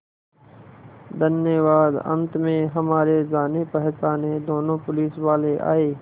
धन्यवाद अंत में हमारे जानेपहचाने दोनों पुलिसवाले आए